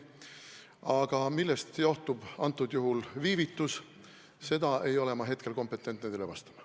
Aga millest johtub see viivitus, seda ei ole ma hetkel kompetentne teile vastama.